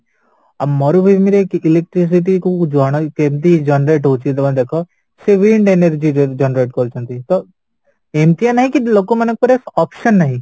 ଆଉ ମରୁଭୂମି electric city କୋଉ ଜଣ କେମିତି generate ହଉଚି ଜମା ଦେଖ ସିଏବି wind energy generate କରୁଛନ୍ତି ତ ଏମିତିଆ ନାହିଁକି ଲୋକମାନଙ୍କ ଉପରେ option ନାହିଁ